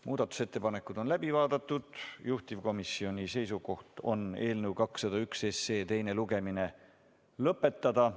Muudatusettepanekud on läbi vaadatud, juhtivkomisjoni seisukoht on eelnõu 201 teine lugemine lõpetada.